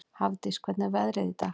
Hafdís, hvernig er veðrið í dag?